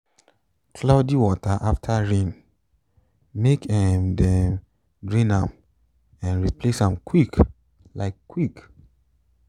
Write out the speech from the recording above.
cloudy water after rain make um dem drain am um replace am quick um quick